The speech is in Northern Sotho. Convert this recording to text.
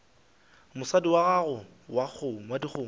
mosadi wa gago wa dikgomo